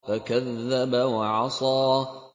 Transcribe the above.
فَكَذَّبَ وَعَصَىٰ